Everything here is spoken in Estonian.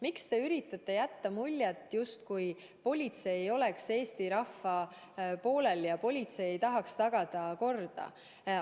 Miks te üritate jätta muljet, justkui politsei ei oleks Eesti rahva poolel ja politsei ei tahaks tagada korda?